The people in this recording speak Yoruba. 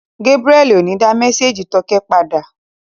Gébúrẹ́li ò ní dá mésèjì tókẹ́ padà